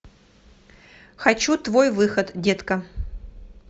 хочу твой выход детка